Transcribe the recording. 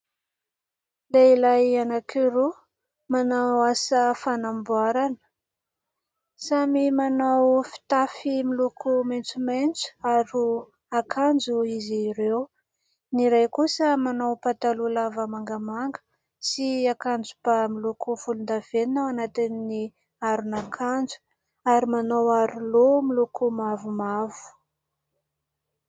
Lehilay anankiroa manao asa fanamboarana. Samy manao fitafy miloko maintsomaintso aron' akanjo izy ireo. Ny iray kosa manao pataloha lava mangamanga sy akanjoba miloko volondavenona ao anatin' ny aron' akanjo ary manao aro-loha miloko mavomavo.